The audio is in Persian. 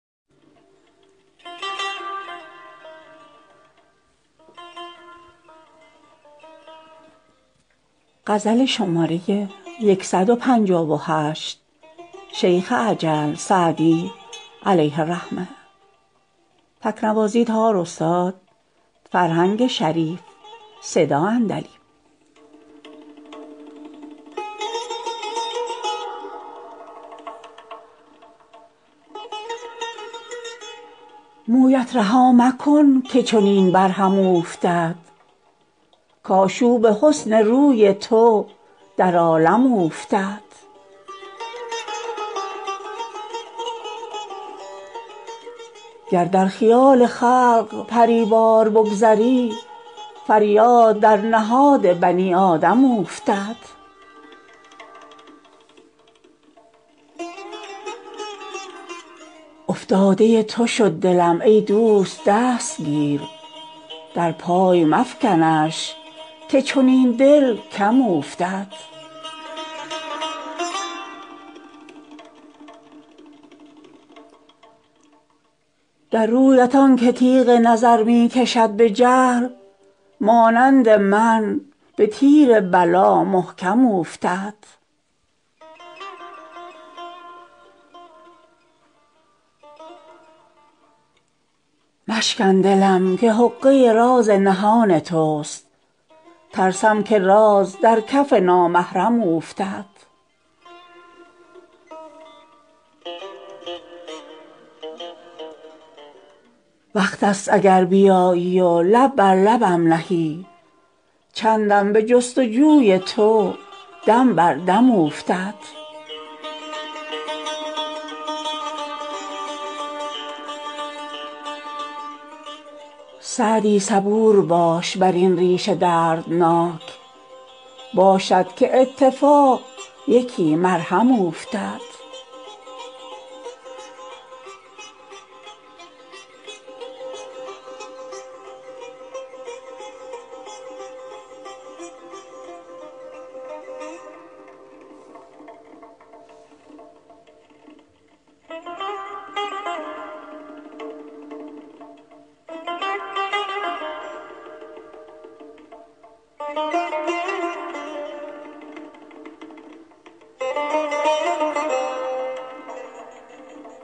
مویت رها مکن که چنین بر هم اوفتد کآشوب حسن روی تو در عالم اوفتد گر در خیال خلق پری وار بگذری فریاد در نهاد بنی آدم اوفتد افتاده تو شد دلم ای دوست دست گیر در پای مفکنش که چنین دل کم اوفتد در رویت آن که تیغ نظر می کشد به جهل مانند من به تیر بلا محکم اوفتد مشکن دلم که حقه راز نهان توست ترسم که راز در کف نامحرم اوفتد وقت ست اگر بیایی و لب بر لبم نهی چندم به جست و جوی تو دم بر دم اوفتد سعدی صبور باش بر این ریش دردناک باشد که اتفاق یکی مرهم اوفتد